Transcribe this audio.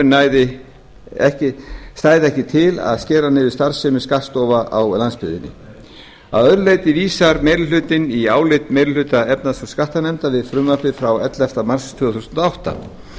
með frumvarpinu stæði ekki til að skera niður starfsemi skattstofa á landsbyggðinni að öðru leyti vísar meiri hlutinn til álits meiri hluta efnahags og skattanefndar við frumvarpið frá elleftu mars tvö þúsund og átta